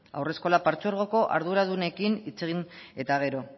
haurreskolak partzuergoko arduradunekin hitz egin eta gero